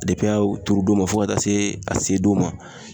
a bi turu don min na, fɔ ka taa se a se don ma